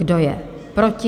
Kdo je proti?